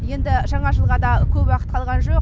енді жаңа жылға да көп уақыт қалған жоқ